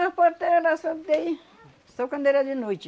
As parteira era só... Só quando era de noite.